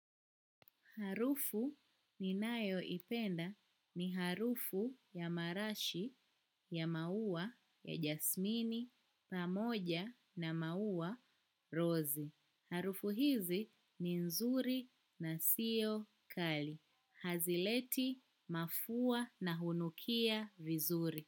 Harufu ninayoipenda ni harufu ya marashi, ya maua, ya jasmini, pamoja na maua, rozi. Harufu hizi ni nzuri na sio kali. Hazileti mafua na hunukia vizuri.